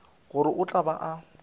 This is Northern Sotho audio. gore o tla be a